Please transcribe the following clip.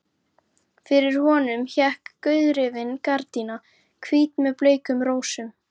Fyrir honum hékk gauðrifin gardína, hvít með bleikum rósum.